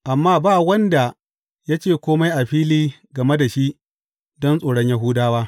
Amma ba wanda ya ce kome a fili game da shi don tsoron Yahudawa.